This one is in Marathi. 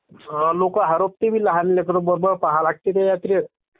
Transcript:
लोकं हरबता...लहान लेकरं .पाहावं लागतं ना त्या यात्रेत..